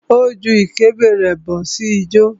Ó ju ìkébè rẹ̀ bó ṣe ń jó.